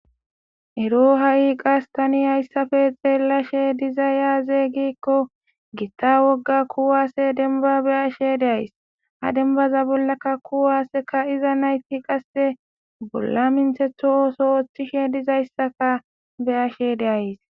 Ero ha7i qasse tani xeelashe dizzay aaze gizayssa giddiko gita wogga kuwaase dembba be7ashe dayssi ha bollan qasse kuwase kaa7iza nayti bolla menththetho ooso ooththishe dizayssa be7ays.